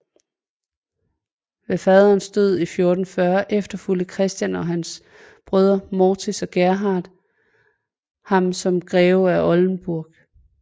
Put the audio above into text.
Ved faderens død i 1440 efterfulgte Christian og hans brødre Morits og Gerhard ham som greve af Oldenburg